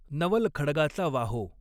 नवल खड्गाचा वाहो।